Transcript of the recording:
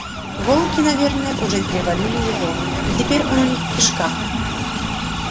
волки наверно уже переварили его и теперь он у них в кишках